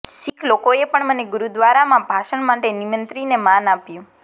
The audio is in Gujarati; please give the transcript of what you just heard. શીખ લોકોએ પણ મને ગુરુદ્વારામાં ભાષણ માટે નિમંત્રીને માન આપ્યું